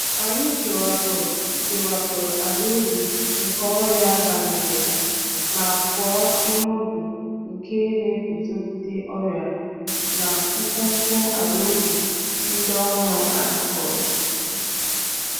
Anyị kewapụrụ kewapụrụ àlàubi nke ọrịa banyerela ma kụọ iheubi nke na-eguzogide ọrịa na mkpumkpu alaubi ndị ọhụrụ a kọrọ.